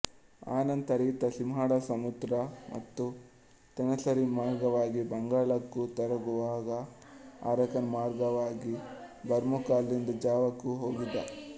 ಅನಂತರ ಈತ ಸಿಂಹಳ ಸುಮಾತ್ರ ಮತ್ತು ತೆನಾಸರಿಮ್ ಮಾರ್ಗವಾಗಿ ಬಂಗಾಳಕ್ಕೂ ತರುವಾಯ ಆರಾಕಾನ್ ಮಾರ್ಗವಾಗಿ ಬರ್ಮಕ್ಕೂ ಅಲ್ಲಿಂದ ಜಾವಕ್ಕೂ ಹೋಗಿದ್ದ